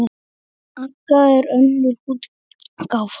Agga er önnur útgáfa.